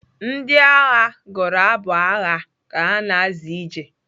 Ndị agha gụrụ abụ agha ka ha na-azọ ije.